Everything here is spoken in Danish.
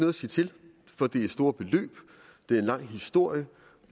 at sige til for det er store beløb det er en lang historie